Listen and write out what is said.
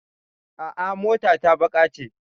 A'a, mota ta baƙa ce.